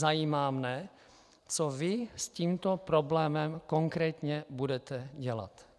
Zajímá mě, co vy s tímto problémem konkrétně budete dělat.